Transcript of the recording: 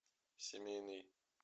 семейный